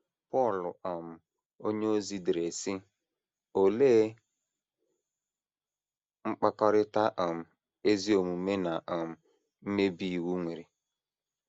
Pọl um onyeozi dere, sị: “ Olee mkpakọrịta um ezi omume na um mmebi iwu nwere?